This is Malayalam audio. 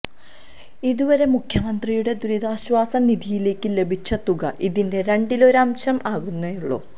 ഇതുവരെ മുഖ്യമന്ത്രിയുടെ ദുരിതാശ്വാസ നിധിയിലേക്ക് ലഭിച്ച തുക ഇതിന്റെ രണ്ടിലൊരംശമേ ആകുന്നുള്ളൂ